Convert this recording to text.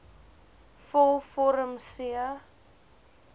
vul vorm c